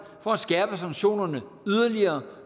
for at skærpe sanktionerne